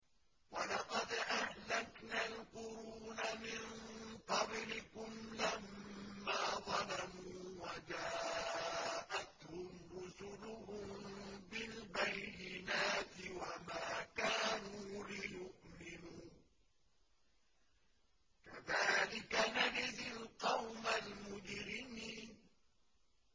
وَلَقَدْ أَهْلَكْنَا الْقُرُونَ مِن قَبْلِكُمْ لَمَّا ظَلَمُوا ۙ وَجَاءَتْهُمْ رُسُلُهُم بِالْبَيِّنَاتِ وَمَا كَانُوا لِيُؤْمِنُوا ۚ كَذَٰلِكَ نَجْزِي الْقَوْمَ الْمُجْرِمِينَ